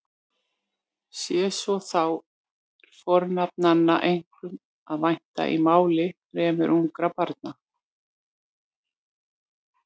Sé svo þá er fornafnanna einkum að vænta í máli fremur ungra barna.